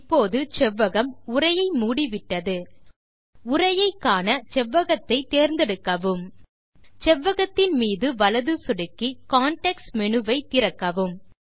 இப்போது செவ்வகம் உரையை மூடிவிட்டது உரையை காண செவ்வ்வகத்தை தேர்ந்தெடுக்கவும் செவ்வகத்தின் மீது வலது சொடுக்கி கான்டெக்ஸ்ட் மேனு வை திறக்கவும்